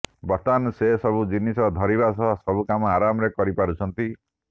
ବର୍ତ୍ତମାନ ସେ ସବୁ ଜିନିଷ ଧରିବା ସହ ସବୁ କାମ ଆରାମରେ କରିପାରୁଛନ୍ତି